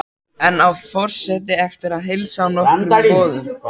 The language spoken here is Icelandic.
Enn á forseti eftir að heilsa á nokkrum borðum.